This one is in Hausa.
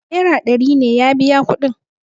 naira ɗari ne ya biya kudin